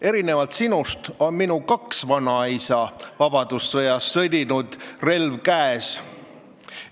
Erinevalt sinust on minu kaks vanaisa vabadussõjas sõdinud, relv käes.